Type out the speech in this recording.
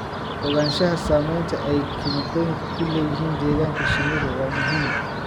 Ogaanshaha saamaynta ay kiimikooyinka ku leeyihiin deegaanka shinnidu waa muhiim.